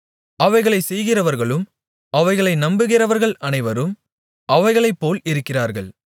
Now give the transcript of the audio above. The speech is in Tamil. அவைகளைச் செய்கிறவர்களும் அவைகளை நம்புகிறவர்கள் அனைவரும் அவைகளைப்போல் இருக்கிறார்கள்